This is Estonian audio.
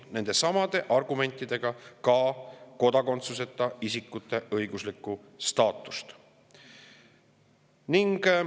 Needsamad argumendid puudutavad kodakondsuseta isikute õiguslikku staatust samamoodi.